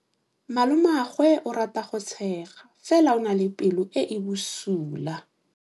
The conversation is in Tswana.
Malomagwe o rata go tshega fela o na le pelo e e bosula.